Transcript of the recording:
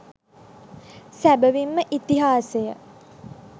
සැබැවින් ම ඉතිහාසය